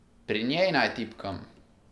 Pri njej naj tipkam!